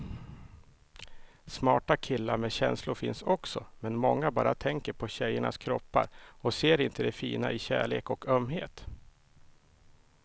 Smarta killar med känslor finns också, men många bara tänker på tjejernas kroppar och ser inte det fina i kärlek och ömhet.